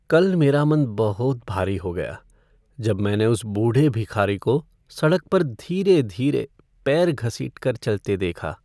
कल मेरा मन बहुत भारी हो गया जब मैंने उस बूढ़े भिखारी को सड़क पर धीरे धीरे पैर घसीट कर चलते देखा।